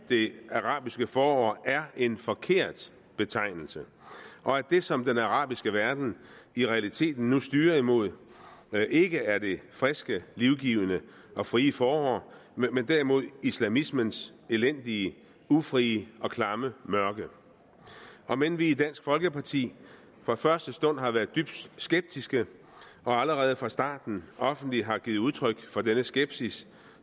det arabiske forår er en forkert betegnelse og at det som den arabiske verden nu i realiteten styrer mod ikke er det friske livgivende og frie forår men derimod islamismens elendige ufrie og klamme mørke om end vi i dansk folkeparti fra første stund har været dybt skeptiske og allerede fra starten offentligt har givet udtryk for denne skepsis